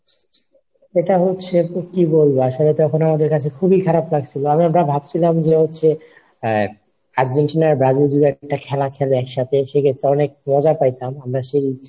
ওটা হচ্ছে যে কি বলবো আসলে তো এখন আমাদের কাছে খুবই খারাপ লাগছিলো। আমি ওটা ভাবছিলাম যে হচ্ছে আর্জেন্টিনা ব্রাজিল জুড়ে একটা খেলা খেলে একসাথে সেক্ষেত্রে অনেক মজা পাইতাম।